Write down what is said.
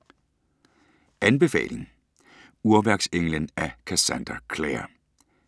Anbefaling: Urværksenglen af Cassandra Clare